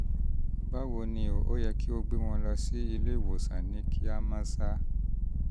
báwo ni o? ó yẹ kí ẹ gbé wọn lọ sí ilé-ìwòsàn ní kíá mọ́sá